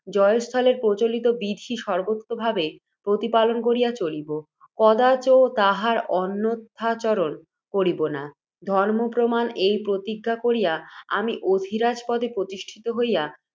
জয়স্থলের প্রচলিত বিধি সর্ব্বতোভাবে প্রতিপালন করিয়া চলিব, কদাচ তাহার অন্যথাচরণ করিব না, ধর্ম্মপ্রমাণ এই প্রতিজ্ঞা করিয়া, আমি অধি রাজপদে প্রতিষ্ঠিত হইয়া।